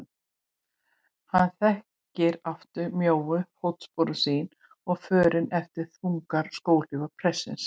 Hann þekkti aftur mjóu fótsporin sín og förin eftir þungar skóhlífar prestsins.